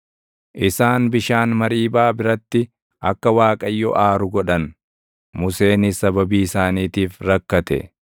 Isaan bishaan Mariibaa biratti akka Waaqayyo aaru godhan. Museenis sababii isaaniitiif rakkate;